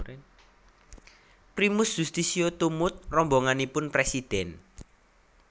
Primus Yustisio tumut rombonganipun presiden